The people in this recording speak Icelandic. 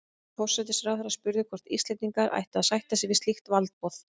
Forsætisráðherra spurði, hvort Íslendingar ættu að sætta sig við slíkt valdboð